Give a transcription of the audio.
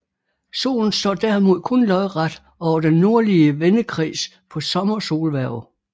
Solen står derimod kun lodret over den nordlige vendekreds på Sommersolhverv